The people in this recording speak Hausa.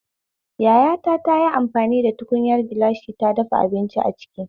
Yayata tayi amfani da tukunyar gilashi ta dafa abinci aciki